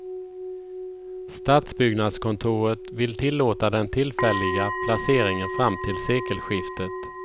Stadsbyggnadskontoret vill tillåta den tillfälliga placeringen fram till sekelskiftet.